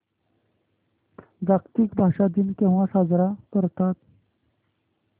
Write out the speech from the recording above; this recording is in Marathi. जागतिक भाषा दिन केव्हा साजरा करतात